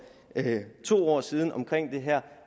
to år siden om det her